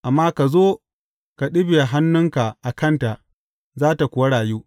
Amma ka zo ka ɗibiya hannunka a kanta, za tă kuwa rayu.